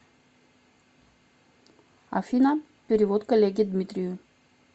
афина перевод коллеге дмитрию